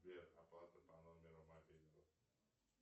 сбер оплата по номеру мобильного